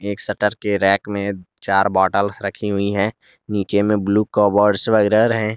एक शटर के रैक में चार बॉटल्स रखी गई है नीचे में ब्लू कबर्ड वगैरा है।